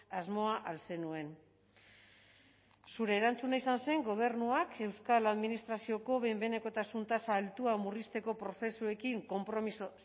asmoa al zenuen zure erantzuna izan zen gobernuak euskal administrazioko behin behinekotasun tasa altua murrizteko prozesuekin konpromiso